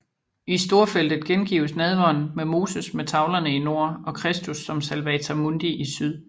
I storfeltet gengives nadveren med Moses med tavlerne i nord og Kristus som salvator mundi i syd